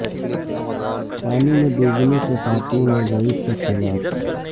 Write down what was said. پانی میں ڈوبنے سے خاتون اور ضعیف شخص ہلاک